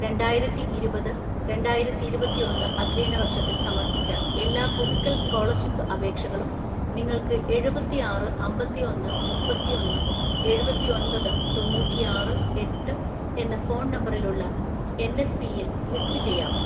രണ്ടായിരത്തിഇരുപത് രണ്ടായിരത്തിഇരുപത്തിഒന്ന് അധ്യയന വർഷത്തിൽ സമർപ്പിച്ച എല്ലാ പുതുക്കൽ സ്‌കോളർഷിപ്പ് അപേക്ഷകളും നിങ്ങൾക്ക് എഴുപത്തിആറ് അമ്പത്തിഒന്ന് മുപ്പത്തിഒന്ന് എഴുപത്തിഒന്‍പത് തൊണ്ണൂറ്റിആറ് എട്ട് എന്ന ഫോൺ നമ്പറിലുള്ള എൻഎസ്പിയിൽ ലിസ്റ്റ് ചെയ്യാമോ?